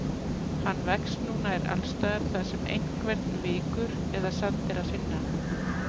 Hann vex nú nær alls staðar þar sem einhvern vikur eða sand er að finna.